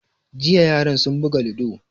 Jiya yaran sun buga ludo